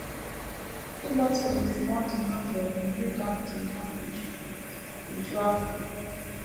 Ịgbaso ndụmọdụ Novel na - eme ka ndụ na - eju - eju afọ